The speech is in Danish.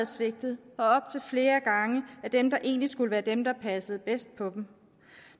svigtet og op til flere gange af dem der egentlig skulle være dem der passer bedst på dem